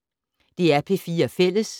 DR P4 Fælles